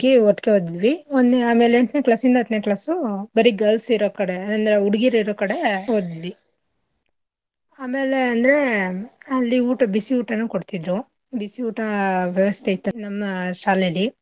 ಒಟ್ಟಿಗೆ ಓದುದ್ವಿ ಆಮೇಲೆ ಎಂಟ್ನೇ class ಇಂದ ಹತ್ನೇ class ಉ ಬರೀ girls ಇರಕಡೆ ಅಂದ್ರೆ ಹುಡ್ಗಿರ್ ಇರೋಕಡೆ ಓದುದ್ವಿ ಆಮೇಲೆ ಅಂದ್ರೆ ಅಲ್ಲಿ ಊಟ ಬಿಸಿ ಊಟನೂ ಕೊಡ್ತಿದ್ರು ಬಿಸಿ ಊಟ ವ್ಯವಸ್ಥೆ ಇತ್ತು ನಮ್ಮ ಶಾಲೆಲಿ.